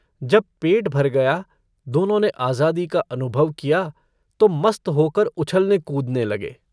जब पेट भर गया दोनों ने आज़ादी का अनुभव किया तो मस्त होकर उछलने-कूदने लगे।